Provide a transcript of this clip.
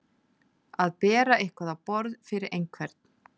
Að bera eitthvað á borð fyrir einhvern